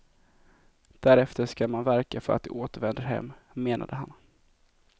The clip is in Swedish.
Därefter skall man verka för att de återvänder hem, menade han.